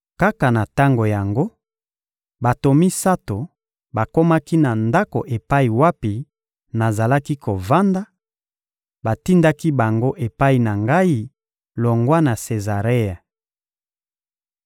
Kaka na tango yango, bato misato bakomaki na ndako epai wapi nazalaki kovanda; batindaki bango epai na ngai longwa na Sezarea.